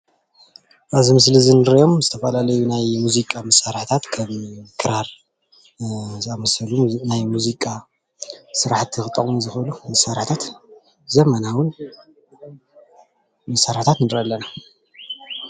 ኣብዚ ምስሊ እዚ እንሪኦም ዝተፈላለዩ ናይ ሙዚቃ መሳርሒታት ከም ክራር ዝኣመሰሉ ናይ ሙዚቃ ስራሕቲ ክጠቅሙ ዝክእሉ መሳርሕታትን ዘመናዊን መሳርሕታት ንርኢ ኣለና፡፡